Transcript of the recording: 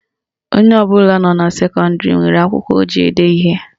Onye ọbụla nọ na sekọndịrị nwere akwụkwọ o ji ede ihe